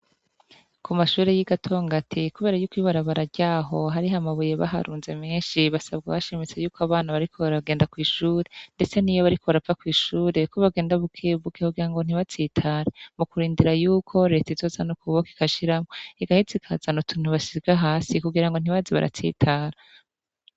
Ku mashure y'i Gatongati kubera yuko ibarabara ryaho hariho amabuye baharunze menshi basabwa bashimitse yuko abana bariko baragenda kw'ishure ndetse niyo bariko bariko barava kw'ishure baragenda kw'ishure ko bogenda bukebuke kugirango ntibatsitare mu kurindira yuko leta izozana ukuboko igashiramwo igaheza ikazana utuntu basiga hasi kugirango ntibaze baratsitara.